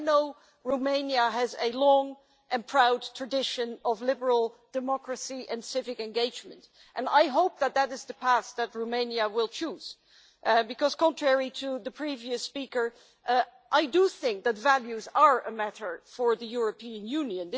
I know that Romania has a long and proud tradition of liberal democracy and civic engagement, and I hope that that is the past that Romania will choose because, unlike the previous speaker, I do think that values are a matter for the European Union.